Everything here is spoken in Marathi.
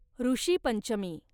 ॠषीपंचमी